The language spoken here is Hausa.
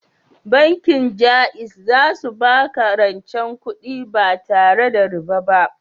Bankin Jaiz za su baka rancen kudi ba tare da riba ba